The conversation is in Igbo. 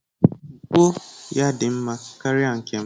Ukpo ya dị mma karịa nke m.